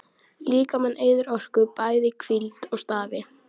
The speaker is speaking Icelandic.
Líkaminn eyðir orku, bæði í hvíld og starfi.